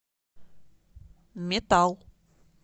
метал